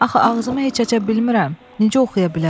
Axı ağzımı heç aça bilmirəm, necə oxuya bilərəm?